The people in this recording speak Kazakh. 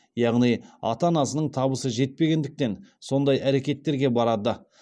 яғни ата анасының табысы жетпегендіктен сондай әрекеттерге барады